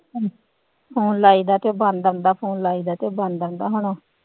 Phone ਲਾਈਦਾ ਤੇ ਬੰਦ ਆਉਂਦਾ phone ਲਾਈਦਾ ਤੇ ਬੰਦ ਆਉਂਦਾ ਹੁਣ।